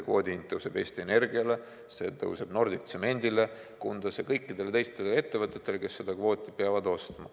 Kvoodi hind tõuseb Eesti Energiale, see tõuseb Nordic Tsemendile Kundas ja kõikidele teistele ettevõtetele, kes seda kvooti peavad ostma.